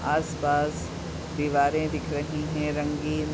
आस पास दीवारे दिख रही हैं रंगीन।